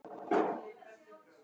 Það er orðin vika síðan.